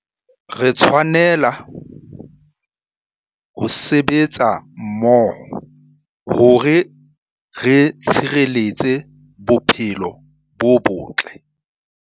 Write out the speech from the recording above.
Re tshwanela ho sebetsa mmoho hore re tshireletse bophelo bo botle.